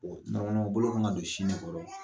bolo kan ka don sin de kɔrɔ.